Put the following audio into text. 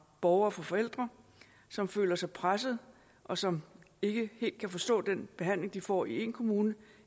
borgere og fra forældre som føler sig presset og som ikke helt kan forstå den behandling de får i én kommune